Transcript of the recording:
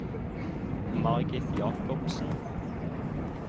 Margit Jakobsen